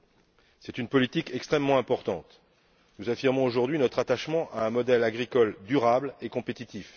Il s'agit d'une politique extrêmement importante nous affirmons aujourd'hui notre attachement à un modèle agricole durable et compétitif.